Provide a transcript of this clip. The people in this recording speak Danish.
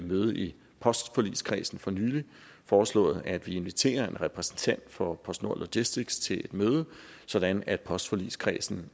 møde i postforligskredsen for nylig foreslået at vi inviterer en repræsentant fra postnord logistics as til et møde sådan at postforligskredsen